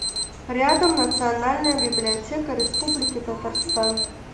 рядом национальная библиотека республики татарстан